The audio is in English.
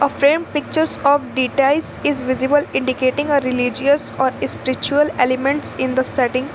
A frame pictures of details is visible indicating a religious or spiritual elements in the setting.